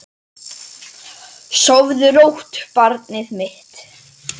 Sofðu rótt barnið mitt.